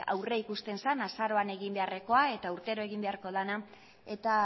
aurre ikusten zen azaroan egin beharrekoa eta urtero egin beharko dena eta